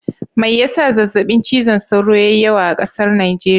Mai ya sa zazzaɓin cizon sauro ya yi yawa a ƙasar Najeriya?